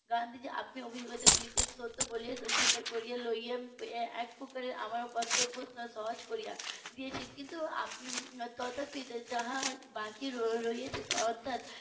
গান্ধীজি আপনি অভিজ্ঞতা গুলিকে সত্য বলে স্বীকার করে নিয়ে একপ্রকারএ আমার কর্তব্য সহজ করে দিয়েছেন কিন্তু তথাপি যা বাকি রয়েছে অর্থাৎ